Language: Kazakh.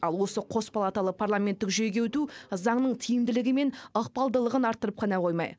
ал осы қос палаталы парламенттік жүйеге өту заңның тиімділігі мен ықпалдылығын арттырып қана қоймай